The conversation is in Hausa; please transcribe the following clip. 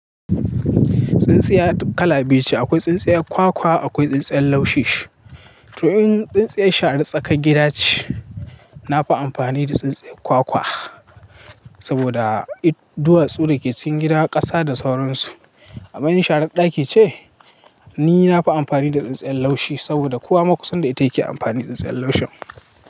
Tsintsiyar kala biyu ce. Akwai tsintsiyar kwakwa, akwai tsintsiyar laushi. To in tsintsiyar sharan tsakar gida ce, na fi amfani da tsintsiyar kwakwa saboda duwatsu da ke cikin gidan ƙasa da sauransu. Amma in sharan ɗaki ce, ni na fi amfani da tsintsiyar laushi saboda kowa makusanda ita yake amfani da tsintsiyar laushin.